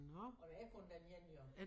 Og der er kun den ene jo